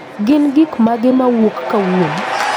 gin gik magek mawuok kauono